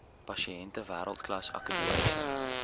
pasiënte wêreldklas akademiese